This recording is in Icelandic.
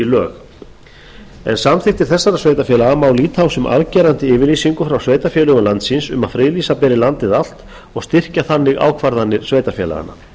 lög ef samþykktir þessara sveitarfélaga má líta á sem afgerandi yfirlýsingu frá sveitarfélögum landsins um að friðlýsa beri landið allt og styrkja þannig ákvarðanir sveitarfélaganna